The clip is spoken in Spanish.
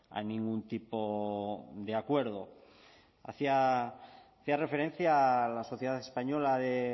a ningún tipo de acuerdo hacía referencia a la sociedad española de